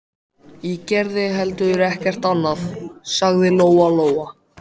Ég geri heldur ekkert annað, sagði Lóa-Lóa.